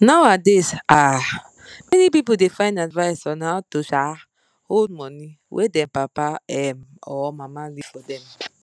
nowadays um many people da find advice on how to um hold money wey them papa um or mama leave forr dem